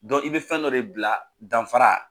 Dɔn i bɛ fɛn dɔ de bila danfara